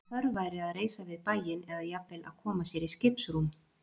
Að þörf væri að reisa við bæinn, eða jafnvel að koma sér í skipsrúm.